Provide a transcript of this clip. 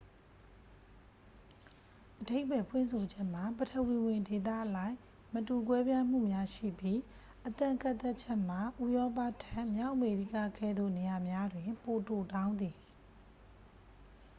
အဓိပ္ပါယ်ဖွင့်ဆိုချက်မှာ ပထဝီဝင်ဒေသအလိုက် မတူကွဲပြားမှုများ ရှိပြီး အသက်ကန့်သတ်ချက်မှာ ဥရောပထက် မြောက်အမေရိကကဲ့သို့ နေရာများတွင် ပိုတိုတောင်းသည်